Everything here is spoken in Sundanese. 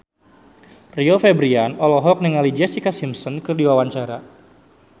Rio Febrian olohok ningali Jessica Simpson keur diwawancara